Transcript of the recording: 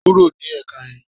Kúrò ní èka yan